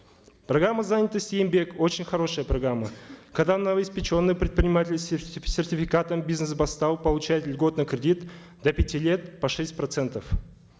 программа занятости еңбек очень хорошая программа когла новоиспеченный предприниматель с сертификатом бизнес бастау получает льготный кредит до пяти лет под шесть процентов